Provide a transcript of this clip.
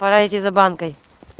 пора идти за банкой